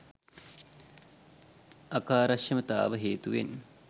අකාර්යක්ෂමතාව හේතුවෙන්